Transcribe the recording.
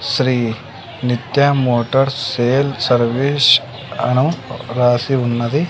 Shri Nitya Motors sale service అను రాసి ఉన్నది.